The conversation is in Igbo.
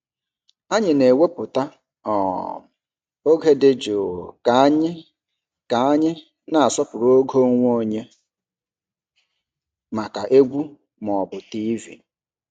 Anyị na-ewepụta um oge dị jụụ ka anyị ka anyị na-asọpụrụ oge onwe onye maka egwu ma ọ bụ TV.